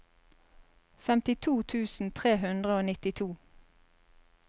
femtito tusen tre hundre og nittito